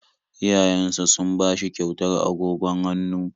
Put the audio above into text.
Iyayensa sun ba shi kyautar agogon hannu